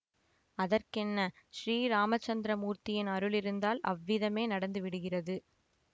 அதற்கென்ன ஸ்ரீராமச்சந்திர மூர்த்தியின் அருள் இருந்தால் அவ்விதமே நடந்து விடுகிறது